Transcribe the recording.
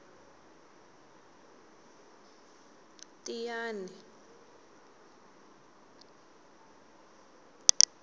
tiyani